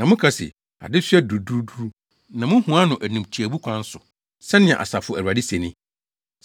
Na moka se, ‘Adesoa duruduru!’ Na muhua no animtiaabu kwan so,” sɛnea Asafo Awurade se ni.